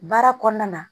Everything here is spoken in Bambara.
Baara kɔnɔna na